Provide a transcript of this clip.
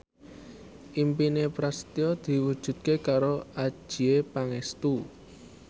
impine Prasetyo diwujudke karo Adjie Pangestu